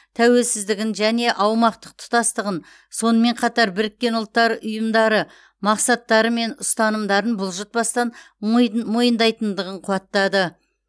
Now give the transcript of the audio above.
тәуелсіздігін және аумақтық тұтастығын сонымен қатар біріккен ұлттар ұйымдары мақсаттары мен ұстанымдарын бұлжытпастан мойны мойындайтындығын қуаттады